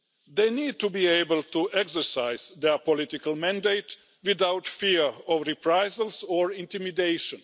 They need to be able to exercise their political mandate without fear of reprisals or intimidation.